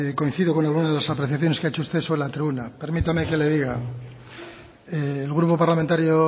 coincidido con algunas de las apreciaciones que ha hecho usted sobre la tribuna permítame que le diga el grupo parlamentario